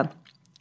Bir azdan.